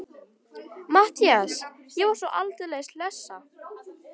MATTHÍAS: Ég er svo aldeilis hlessa.